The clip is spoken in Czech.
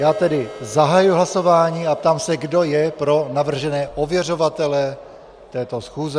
Já tedy zahajuji hlasování a ptám se, kdo je pro navržené ověřovatele této schůze.